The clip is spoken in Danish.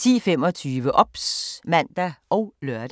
10:25: OBS (man og lør)